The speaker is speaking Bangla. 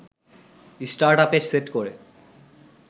স্টার্টআপে সেট করে